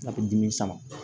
A bɛ dimi sama